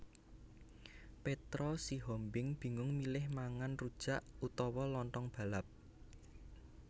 Petra Sihombing bingung milih mangan rujak utawa lontong balap